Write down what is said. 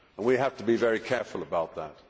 We have to very careful about that.